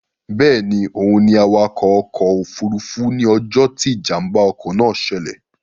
Bẹ́ẹ̀ni, òun ni awakọ̀ ọkọ̀ òfurufú ní ọjọ́ tí Ìjàm̀bá ọkọ̀ náà ṣẹlẹ̀